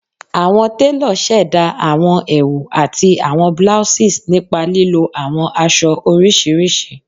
Awọn telo ṣẹda awọn ẹwu ati awọn blouses nipa lilo awọn aṣọ oriṣiriṣi